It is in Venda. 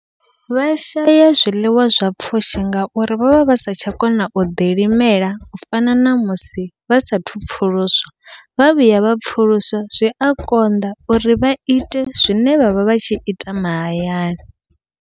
Vha shaya zwiḽiwa zwa pfhushi ngauri vha vha vha sa tsha kona u ḓilimela u fana namusi vha sathu pfhuluswa, vha vhuya vha pfhuluswa zwia konḓa uri vha ite zwine vhavha vha tshi ita mahayani.